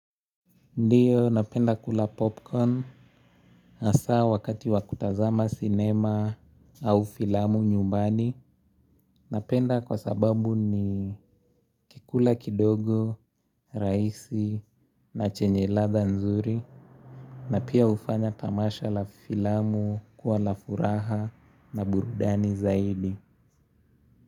Ndiyo napenda kula popcorn hasaa wakati wa kutazama sinema au filamu nyumbani. Napenda kwa sababu nikikula kidogo, rahisi na chenye ladha nzuri. Na pia hufanya tamasha la filamu kuwa la furaha na burudani zaidi.